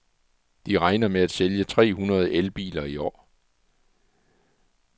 De regner med at sælge tre hundrede elbiler i år.